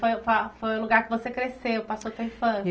Foi foi o lugar que você cresceu, passou tua infância.